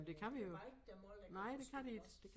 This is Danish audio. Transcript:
Øh der bare ikke der mange der kan forstå os